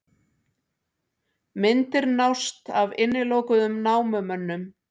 Myndir nást af innilokuðum námumönnum